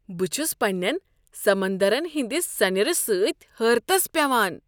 بہٕ چھُس پنٛنین سمندرن ہنٛدِ سنیر سۭتۍ حٲرتس پیوان۔